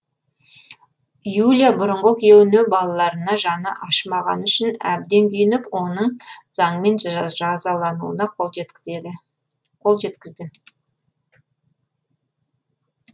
юлия бұрынғы күйеуіне балаларына жаны ашымағаны үшін әбден күйініп оның заңмен жазалануына қол жеткізді